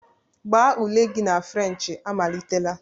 Gbaa ule gị na Frenchị amalitela!